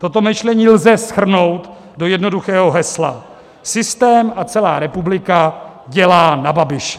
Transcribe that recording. Toto myšlení lze shrnout do jednoduchého hesla: systém a celá republika dělá na Babiše.